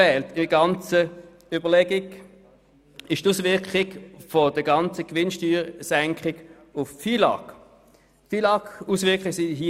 Bei der ganzen Überlegung fehlen nun noch die Auswirkungen der gesamten Gewinnsteuersenkung auf den Finanz- und Lastenausgleich (FILAG).